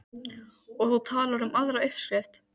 Og þú talar um aðra uppskrift.